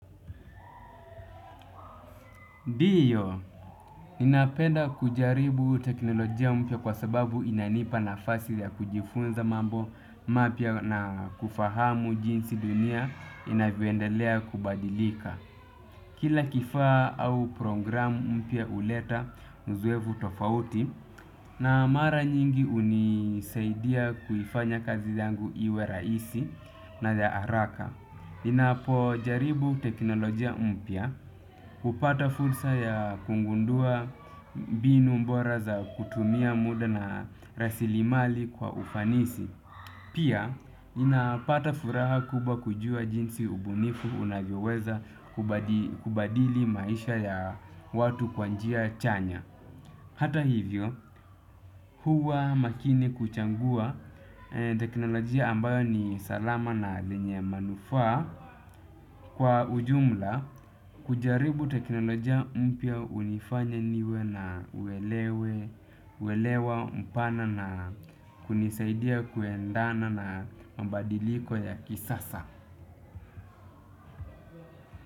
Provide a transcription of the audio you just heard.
Ndio, napenda kujaribu teknolojia mpya kwa sababu inanipa nafasi ya kujifunza mambo mapya na kufahamu jinsi dunia inavyo endelea kubadilika. Kila kifaa au programu mpya huleta uzoefu tofauti na mara nyingi hunisaidia kuifanya kazi yangu iwe rahisi na ya haraka. Ninapo jaribu teknolojia mpya hupata fursa ya kugundua mbinu bora za kutumia muda na rasilimali kwa ufanisi. Pia ninapata furaha kubwa kujua jinsi ubunifu unavyoweza kubadili maisha ya watu kwa njia chanya. Hata hivyo, huwa makini kuchagua teknolojia ambayo ni salama na yenye manufaa kwa ujumla kujaribu teknolojia mpya hunifanya niwe na uelewa, mpana na kunisaidia kuendana na mabadiliko ya kisasa.